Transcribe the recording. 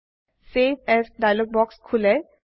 save as dialog বাক্স খোলে